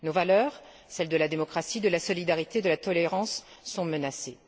Nos valeurs celles de la démocratie, de la solidarité, de la tolérance sont menacées.